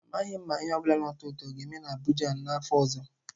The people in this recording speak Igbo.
Amaghị m ma ihe ọ bụla na-atọ ụtọ oga-eme na Abidjan n'afọ ọzọ.